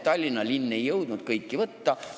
Tallinna linn ei jõudnud kõiki kortereid endale võtta.